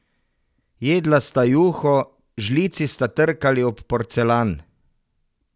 Jedla sta juho, žlici sta trkali ob porcelan.